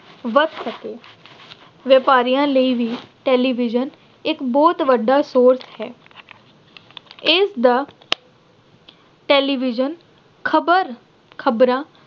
bus ਅਤੇ ਵਪਾਰੀਆਂ ਲਈ ਵੀ television ਇੱਕ ਬਹੁਤ ਵੱਡਾ ਸ੍ਰੋਤ ਹੈ। ਇਸ ਦਾ television ਖਬਰ ਖਬਰਾਂ